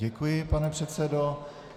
Děkuji, pane předsedo.